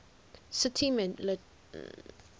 city metropolitan area